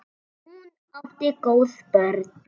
Hún átti góð börn.